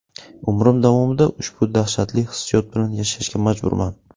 Umrim davomida ushbu dahshatli hissiyot bilan yashashga majburman.